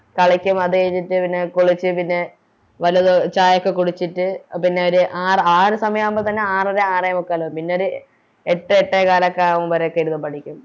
കളിക്കും അത് കഴിഞ്ഞിട്ട് പിന്നെ കുളിച്ച് പിന്നെ വലതു ചായൊക്കെ കുടിച്ചിട്ട് ആ പിന്നെയോര് ആറ് ആ ഒരു സമയാവുമ്പോ തന്നെ ആറര ആറേമുക്കാലൊക്കെ ആകും പിന്നെയോര് എട്ട് എട്ടേകാലോക്കെയാവുമ്പോ കൊറേക്കെ ഇരുന്ന് പഠിക്കും